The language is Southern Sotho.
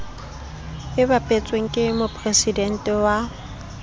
e bapetsweng ke mopresidente wa